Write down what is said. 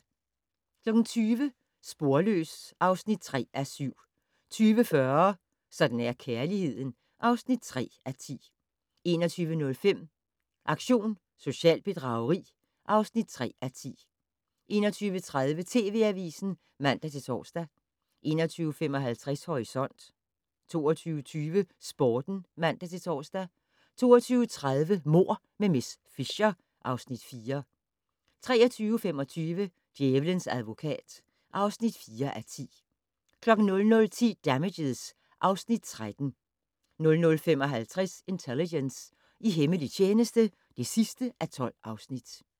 20:00: Sporløs (3:7) 20:40: Sådan er kærligheden (3:10) 21:05: Aktion socialt bedrageri (3:10) 21:30: TV Avisen (man-tor) 21:55: Horisont 22:20: Sporten (man-tor) 22:30: Mord med miss Fisher (Afs. 4) 23:25: Djævelens advokat (4:10) 00:10: Damages (Afs. 13) 00:55: Intelligence - i hemmelig tjeneste (12:12)